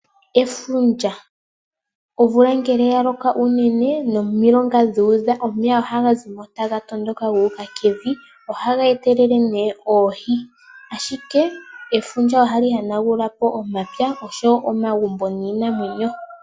Efundja Omvula ngele ya loko unene nomilonga dhu udha, omeya ohaga zi mo taga tondoka gu uka kevi. Ohaga etelele oohi, ashike efundja ohali hanagula po omapya oshowo omagumbo niinamwenyo.